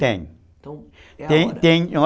Tem.